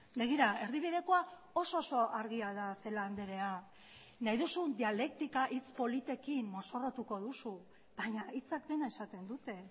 begira erdibidekoa oso oso argia da celaá andrea nahi duzun dialektika hitz politekin mozorrotuko duzu baina hitzak dena esaten dute